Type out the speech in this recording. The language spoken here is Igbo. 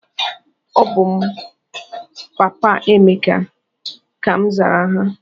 "Ọbụ m papa Emeka!", ka m zara ha.